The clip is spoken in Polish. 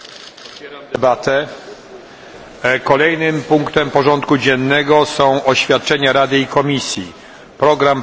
Kolejnym punktem porządku dziennego są oświadczenia Rady i Komisji dotyczące programu prac węgierskiej prezydencji w Radzie.